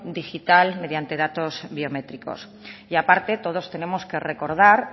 digital mediante datos biométricos y a parte todos tenemos que recordar